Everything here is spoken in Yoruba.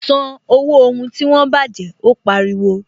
San owó ohun tí wọ́n baje! Ó pariwo